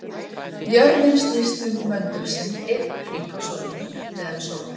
Jörðin snýst um möndul sinn einn hring á sólarhring, miðað við sól.